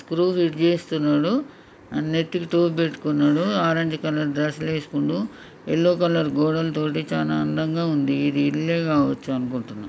Screw fit చేస్తున్నడు నెత్తి కి టోపీ పెట్టుకున్నాడు ఆరంజ్ కలర్ డ్రెస్ లు ఎసుకున్నాడు ఎల్లో కలర్ గోడల తోనీ చాలా అందంగా ఉంది ఇది ఇల్లే కావొచ్చు అనుకుంటున్న.